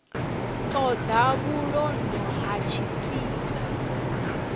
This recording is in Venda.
ṱo ḓa vhulondo ha tshifhinga